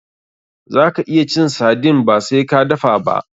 Zaka iya cin sardine ba sai ka dafa ba.